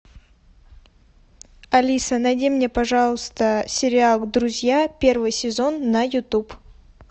алиса найди мне пожалуйста сериал друзья первый сезон на ютуб